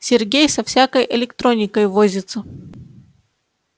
сергей со всякой электроникой возится